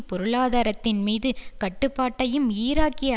பொருளாதாரத்தின் மீது கட்டுப்பாட்டையும் ஈராக்கிய